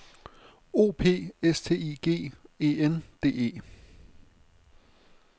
O P S T I G E N D E